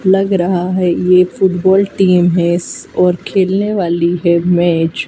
लग रहा है ये फुटबॉल टीम है स और खेलने वाली है मैच ।